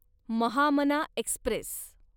Mahamana Express